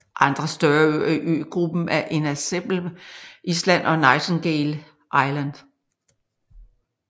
Andre større øer i øgruppen er Inaccessible Island og Nightingale Island